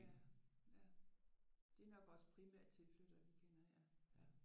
Ja ja. Det er nok også primært tilflyttere vi kender ja